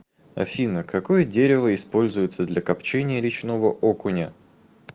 афина какое дерево используется для копчения речного окуня